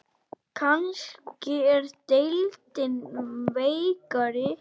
Kannski er deildin veikari?